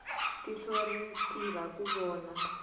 tihlo ri tirha ku vona